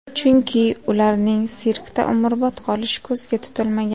Chunki ularning sirkda umrbod qolishi ko‘zga tutilmagan.